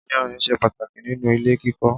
Ìyànrìn ṣe pàtàkì nínú ilé kíkọ́.